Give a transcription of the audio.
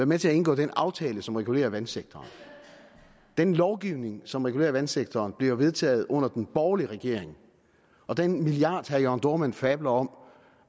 med til at indgå den aftale som regulerer vandsektoren den lovgivning som regulerer vandsektoren blev vedtaget under den borgerlige regering og den milliard som herre jørn dohrmann fabler om